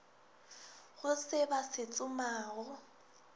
go se ba se tsomago